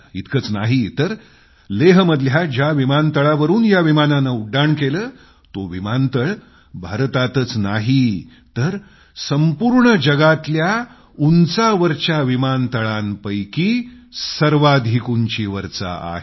इतकंच नाही तर लेहमधल्या ज्या विमानतळावरून या विमानानं उड्डाण केलं ते विमानतळ भारतातच नाही तर संपूर्ण दुनियेतल्या उंचावरच्या विमानतळांपैकी सर्वाधिक उंचीवरचं आहे